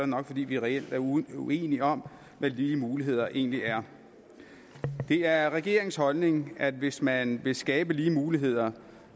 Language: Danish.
nok fordi vi reelt er uenige om hvad lige muligheder egentlig er det er regeringens holdning at hvis man vil skabe lige muligheder